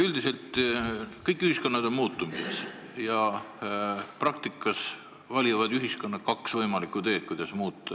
Üldiselt on kõik ühiskonnad muutumises ja valivad praktikas kahe võimaliku tee vahel, kuidas muutuda.